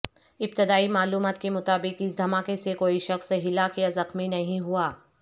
ابتدائی معلومات کے مطابق اس دھماکے سے کوئی شخص ہلاک یا زخمی نہیں ہوا